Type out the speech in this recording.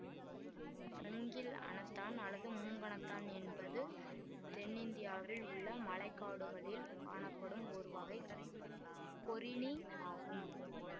மூங்கில் அணத்தான் அல்லது மூங்கணத்தான் என்பது தென் இந்தியாவில் உள்ள மலை காடுகளில் காணப்படும் ஒருவகை கொறிணி ஆகும்